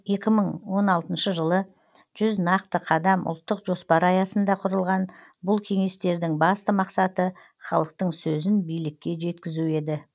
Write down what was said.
екі мың он алтыншы жылы жүз нақты қадам ұлттық жоспары аясында құрылған бұл кеңестердің басты мақсаты халықтың сөзін билікке жеткізу еді